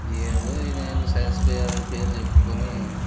ఏదో ఈ నాయన్లు సైన్స్ ఫేర్ అని పేరు చెప్పుకుని --